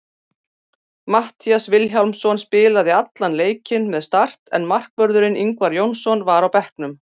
Matthías Vilhjálmsson spilaði allan leikinn með Start en markvörðurinn Ingvar Jónsson var á bekknum.